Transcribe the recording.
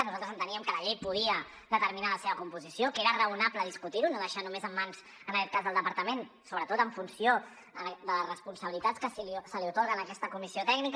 nosaltres enteníem que la llei podia determinar la seva composició que era raonable discutir ho no deixar ho només en mans en aquest cas del departament sobretot en funció de les responsabilitats que se li atorguen a aquesta comissió tècnica